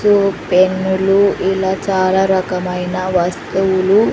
పెన్నులు ఇలా చాలా రకమైన వస్తువులు.